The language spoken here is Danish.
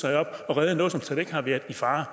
have reddet noget som slet ikke har været i fare